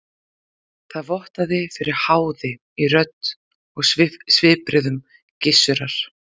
Það vottaði fyrir háði í rödd og svipbrigðum Gizurar.